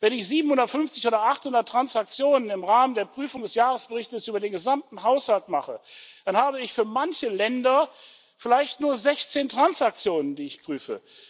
Wenn ich 750 oder 800 Transaktionen im Rahmen der Prüfung des Jahresberichtes über den gesamten Haushalt mache, dann habe ich für manche Länder vielleicht nur 16 Transaktionen, die ich prüfe.